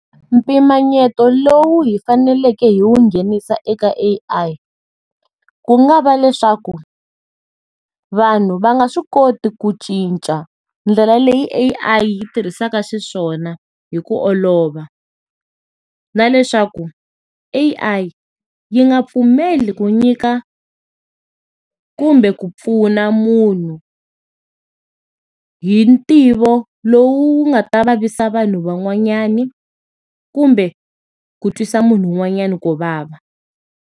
Mpimanyeto lowu hi faneleke hi wu nghenisa eka A_I, ku nga va leswaku, vanhu va nga swi koti ku cinca ndlela leyi A_I yi tirhisaka xiswona hi ku olova. Na leswaku A_I yi nga pfumeli ku nyika kumbe ku pfuna munhu hi ntivo lowu wu nga ta vavisa vanhu van'wanyana, kumbe, ku twisa munhu wun'wanyana ku vava.